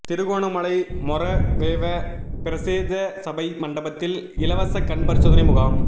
திருகோணமலை மொறவெவ பிரதேச சபை மண்டபத்தில் இலவச கண் பரிசோதனை முகாம்